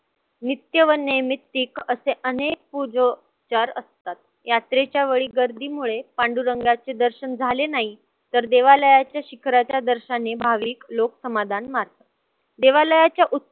नित्य व नैमित्तिक असे अनेक असतात. यात्रेच्या वेळी गर्दीमुळे पांडुरंगाचे दर्शन झाले नाही तर देवालयाच्या शिखराच्या दर्शनी भाविक लोक समाधान मानतात, देवालयच्या